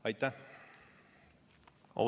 Aitäh!